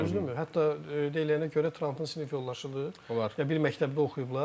Hətta deyilənə görə Trumpın sinif yoldaşıdır və bir məktəbdə oxuyublar.